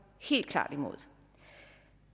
helt klart imod